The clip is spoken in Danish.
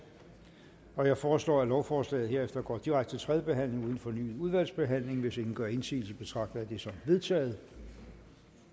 jeg foreslår at lovforslaget herefter går direkte til tredje behandling uden fornyet udvalgsbehandling hvis ingen gør indsigelse betragter jeg det som vedtaget